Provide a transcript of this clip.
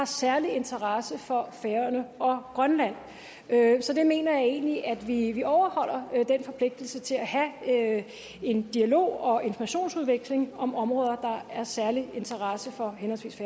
særlig interesse for færøerne og grønland så jeg mener egentlig at vi overholder den forpligtelse til at have en dialog og informationsudveksling om områder der er af særlig interesse for